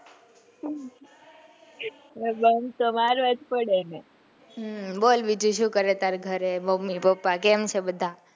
bunk તો મારવા જ પડે ને બોલ બીજું સુ કરે તારે ગરે mummy, papa કેમ છે બધા?